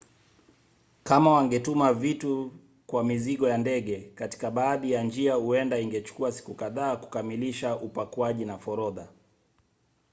kama wangetuma vitu kwa mizigo ya ndege katika baadhi ya njia huenda ingechukua siku kadhaa kukamilisha upakuaji na forodha